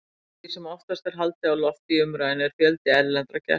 Því sem oftast er haldið á lofti í umræðunni er fjöldi erlendra gesta.